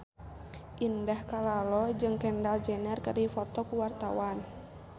Indah Kalalo jeung Kendall Jenner keur dipoto ku wartawan